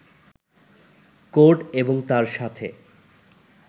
code এবং তার সাথে